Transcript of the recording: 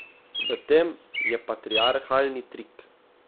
V tem je patriarhalni trik.